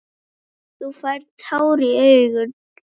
Þú færð tár í augun.